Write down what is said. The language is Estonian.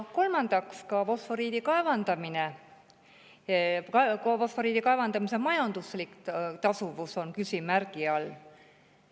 Kolmandaks: ka fosforiidi kaevandamise majanduslik tasuvus on küsimärgi all.